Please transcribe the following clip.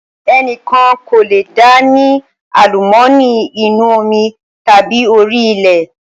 Ẹnikan kò lé dá ni àlùmọ́ọ́nì inú omi tàbí orí ilẹ̀